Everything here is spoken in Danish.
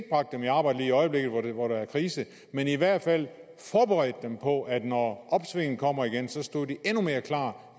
bragt dem i arbejde lige i øjeblikket hvor der er krise men i hvert fald forberedt dem på at de når opsvinget kommer igen stod endnu mere klar